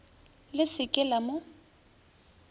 le se ke la mo